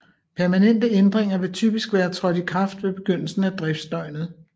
Permanente ændringer vil typisk være trådt i kraft ved begyndelsen af driftsdøgnet